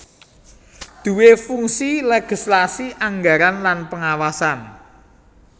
duwé fungsi legislasi anggaran lan pengawasan